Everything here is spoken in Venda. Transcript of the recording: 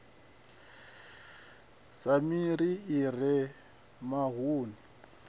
sa miri i re mavuni